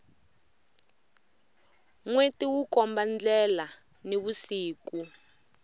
nweti wu komba ndlelani vusiku